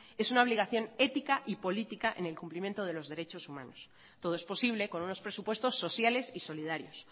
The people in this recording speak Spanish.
es una obligación ética y política en el cumplimiento de los derechos humanos todo es posible con unos presupuestos sociales y solidarios